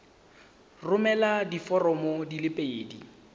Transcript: romela diforomo di le pedi